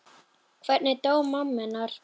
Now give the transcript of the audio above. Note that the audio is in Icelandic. Hvernig dó mamma hennar?